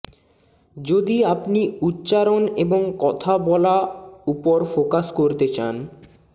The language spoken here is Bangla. যদি আপনি উচ্চারণ এবং কথা বলা উপর ফোকাস করতে চান